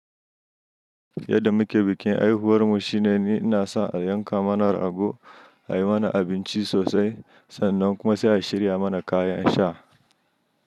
Yadda muke bikin haihuwarmu shine ni ina sa ayanka mana rago, a yi mana abinci sosai sannan kuma sai a shirya mana kayan sha.